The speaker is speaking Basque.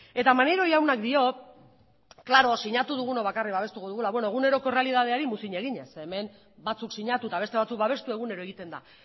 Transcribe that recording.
eta maneiro jaunak dio sinatu dugunok bakarrik babestuko dugula beno eguneroko errealitateari muzin eginez zeren hemen batzuk sinatu eta beste batzuk babestu egunero egiten da